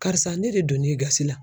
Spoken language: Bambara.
Karisa ne de donn'e gasi la